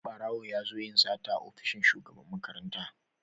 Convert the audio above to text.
Barawo ya zo yin sata a ofishin Shugaban makaranta.